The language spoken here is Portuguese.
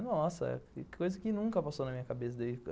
Nossa, coisa que nunca passou na minha cabeça.